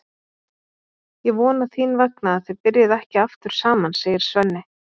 Ég vona þín vegna að þið byrjið ekki aftur saman, segir Svenni.